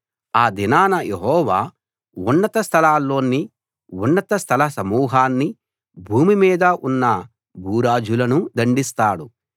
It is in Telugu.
ఆ దినాన యెహోవా ఉన్నత స్థలాల్లోని ఉన్నత స్థల సమూహాన్ని భూమి మీద ఉన్న భూరాజులను దండిస్తాడు